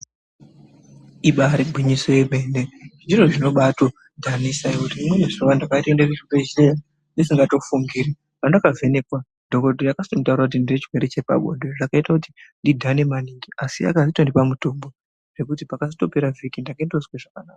Ibari gwinyiso yemene zviro zvinobatodhanisa ngekuti rimweni zuwa ndakatoenda kuchibhedhlera ndisingatofungiri pandakavhenekwa dhokodheya akanditaurira kuti ndine chirwere chepabonde zvakaita kuti ndidhane maningi asi akazotondipa mutombo zvekuti pakazotopera vhiki ndakatozwe zvakanaka.